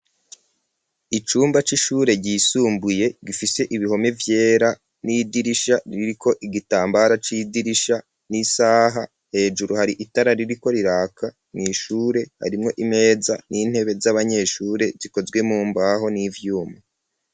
Icumba c'ishure ryisumbuye gifise ibihome vyera n'idirisha ririko igitambara c'idirisha n'isaha hejuru hari itara ririko riraka mu ishure harimwo imeza n'intebe z'abanyeshure zikozwe mumbaho n'ivyuma.